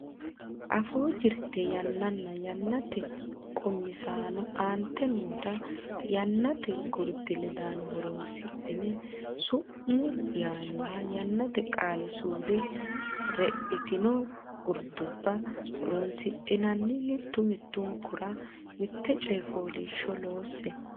Afuu Jirte Yannanna Yannate Qummisaano Aante noota yannate gurdi ledaano horonsidhine sumuu yaannoha yannate qaali suude redhitino gurdubba horonsidhinanni mittu mittunkura mitte coy fooliishsho loosse.